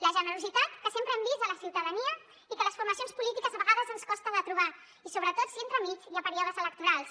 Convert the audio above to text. la generositat que sempre hem vist en la ciutadania i que a les formacions polítiques a vegades ens costa de torbar i sobretot si entremig hi ha períodes electorals